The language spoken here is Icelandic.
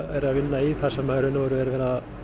vinna í þar sem í raun og veru er verið að